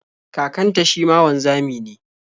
Kakanta shi ma wanzami ne.